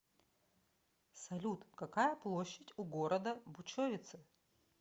салют какая площадь у города бучовице